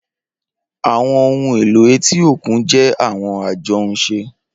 Awọn ohun elo eti okun jẹ awọn ajohunše.